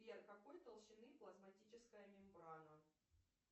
сбер какой толщины плазматическая мембрана